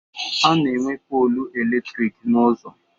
A na-enwe polu elektriki n'uzọ